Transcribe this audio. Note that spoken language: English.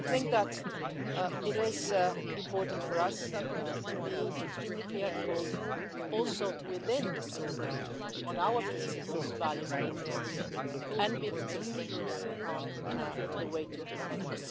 I think that it is important for us to be extremely clear and bold within the European Union too about our principles, values and interests, and be consistent on the way to uphold them.